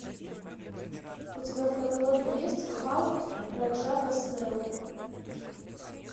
у тебя в каталоге есть халк раджа госнеллы